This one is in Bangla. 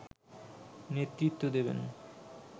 নেতৃ্ত্ব দেবেন